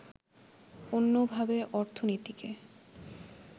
অন্যভাবে অর্থনীতিকে